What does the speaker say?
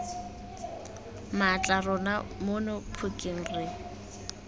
mmatla rona mono phokeng re